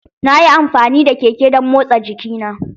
Nayi amfani da keke don motsa jikina.